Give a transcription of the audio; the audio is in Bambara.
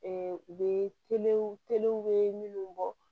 u bɛ bɛ minnu bɔ